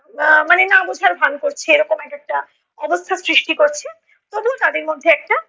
আহ আহ মানে না বোঝার ভান করছে এরকম এক একটা অবস্থার সৃষ্টি করছে, তবুও তাদের মধ্যে একটা